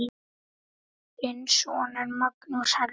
Þinn sonur, Magnús Helgi.